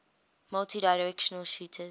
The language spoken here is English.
multidirectional shooters